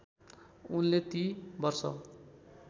उनले ती वर्ष